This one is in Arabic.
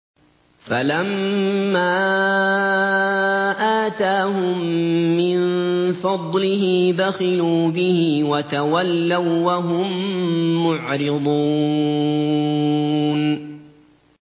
فَلَمَّا آتَاهُم مِّن فَضْلِهِ بَخِلُوا بِهِ وَتَوَلَّوا وَّهُم مُّعْرِضُونَ